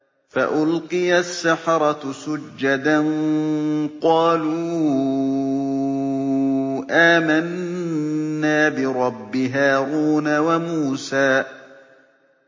فَأُلْقِيَ السَّحَرَةُ سُجَّدًا قَالُوا آمَنَّا بِرَبِّ هَارُونَ وَمُوسَىٰ